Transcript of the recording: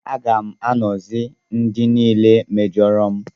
Aga m agọzi ndị niile mejọrọ m.